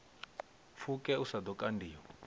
pfuke u sa ḓo kandiwa